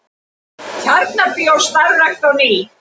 Tjarnarbíó starfrækt á ný